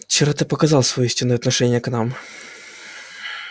вчера ты показал своё истинное отношение к нам